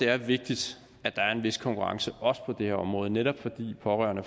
er vigtigt at der er en vis konkurrence også på det her område netop fordi pårørende